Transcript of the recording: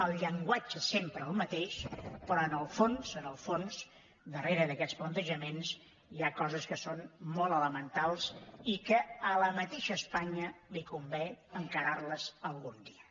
el llenguatge sempre el mateix però en el fons en el fons darrere d’aquests plantejaments hi ha coses que són molt elementals i que a la mateixa espanya li convé encarar les algun dia